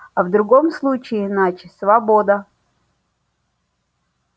а в другом случае иначе свобода